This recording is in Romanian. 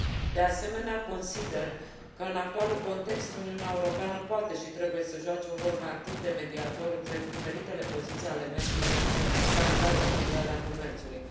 De asemenea, consider că, în actualul context, Uniunea Europeană poate și trebuie să joace un rol mai activ, de mediator, între diferitele poziții ale membrilor Organizației Mondiale a Comerțului.